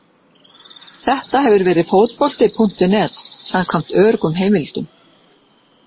Þetta hefur Fótbolti.net samkvæmt öruggum heimildum.